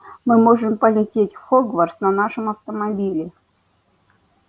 мы можем полететь в хогвартс на нашем автомобиле